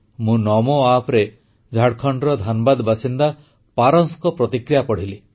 ମୁଁ ନମୋ ଆପ୍ରେ ଝାଡ଼ଖଣ୍ଡର ଧାନବାଦ ବାସିନ୍ଦା ପାରସଙ୍କ ପ୍ରତିକ୍ରିୟା ପଢ଼ିଲି